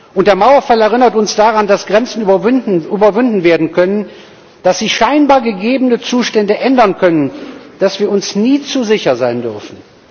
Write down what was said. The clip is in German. Und der Mauerfall erinnert uns daran, dass Grenzen überwunden werden können, dass sich scheinbar gegebene Zustände ändern können, dass wir uns nie zu sicher sein dürfen.